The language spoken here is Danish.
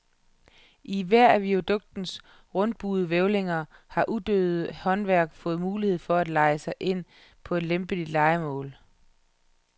I hver af viaduktens rundbuede hvælvinger har uddøende håndværk fået mulighed for at leje sig ind på lempelige lejemål.